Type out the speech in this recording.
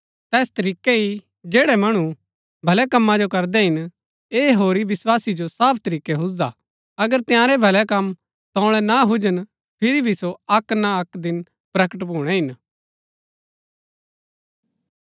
तैस तरीकै ही जैड़ै मणु भलै कमा जो करदै हिन ऐह होरी विस्वासी जो साफ तरीकै हुजदा हा अगर तंयारै भलै कम तोळै ना हुजन फिरी भी सो अक्क ना अक्क दिन प्रकट भूणै हिन